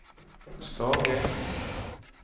Skage